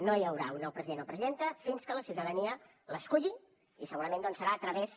no hi haurà un nou president o presidenta fins que la ciutadania l’esculli i segurament serà a través